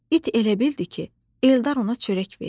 İt elə bildi ki, Eldar ona çörək verir.